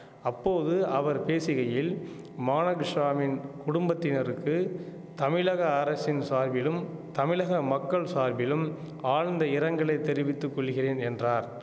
அப்போது அவர் பேசுகையில் மானகிஷாவின் குடும்பத்தினருக்கு தமிழக அரசின் சார்பிலும் தமிழக மக்கள் சார்பிலும் ஆழ்ந்த இரங்கலை தெரிவித்து கொள்கிறேன் என்றார்